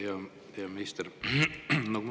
Hea peaminister!